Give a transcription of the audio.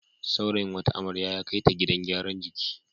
Saurayin wata amrya ya kai ta gidan gyaran jiki.